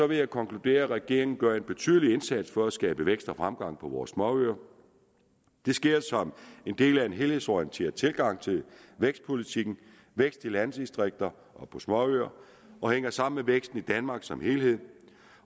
vil jeg konkludere at regeringen gør en betydelig indsats for at skabe vækst og fremgang på vores småøer det sker som en del af en helhedsorienteret tilgang til vækstpolitikken vækst i landdistrikter og på småøer og hænger sammen med væksten i danmark som helhed